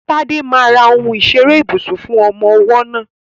Tade máa ra ohun ìṣeré ibùsùn fún ọmọ ọwọ́ náà.